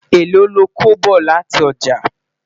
èlò lọkọ bọ láti ọjà?